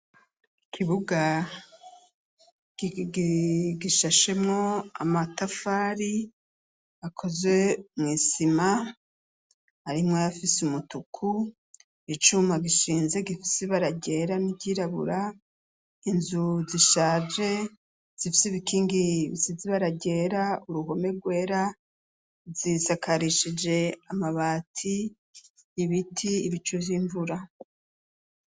Ikibuga gishashemo amatafari akozwe mw'isima arimwo ayafise umutuku, icuma gishinze gifise ibara ryera n'iryirabura ,inzu zishaje zifise ibikingi bisize ibara ryera, uruhome rwera zisakarishije amabati ,ibiti, ibicu vy'imvura.